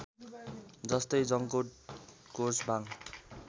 जस्तै जंकोट कोर्चबाङ